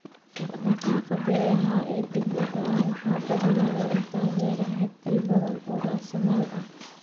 Dhaqdhaqaaqa beeraha ee degdega ah waxaa badanaa lagu taageeraa xaddi badan oo raasamaal ah.